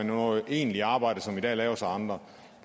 noget egentligt arbejde som i dag laves af andre